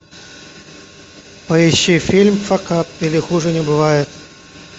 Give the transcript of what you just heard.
поищи фильм факап или хуже не бывает